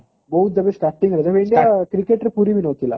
ବହୁତ ଏବେ starting ହେଇଛି ଆଉ cricket ପୁରି ବି ନଥିଲା